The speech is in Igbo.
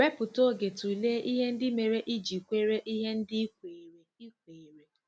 Wepụta oge tụlee ihe ndị mere i ji kwere ihe ndị i kweere i kweere.